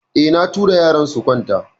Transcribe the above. Eh, na tura yaran su kwanta.